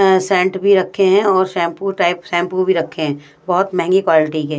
इधर सेंट भी रखे हैं और शैंपू टाइप शैंपू भी रखें है बहोत महंगी क्वालिटी के--